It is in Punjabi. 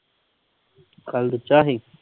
ਸੀ?